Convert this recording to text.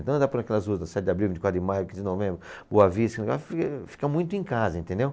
Então, andar por aquelas ruas da Sete Abril, Vinte e quatro de Maio, Quinze de Novembro, Boa Vista, ah fi, fica muito em casa, entendeu?